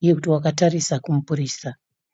uye kuti wakatarisa kumupurisa.